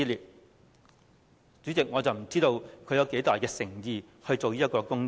代理主席，我不知道她有多大誠意做這個工作？